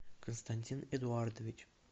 константин эдуардович